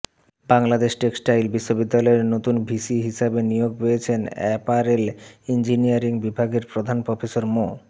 Bangladesh textile বিশ্ববিদ্যালয়ের নতুন VC হিসেবে নিয়োগ পেয়েছেন অ্যাপারেল ইঞ্জিনিয়ারিং বিভাগের প্রধান প্রফেসর মো